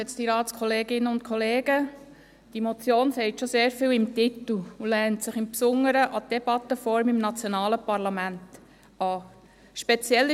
Diese Motion sagt schon sehr viel in ihrem Titel und lehnt sich insbesondere an die Debattenform im nationalen Parlament an.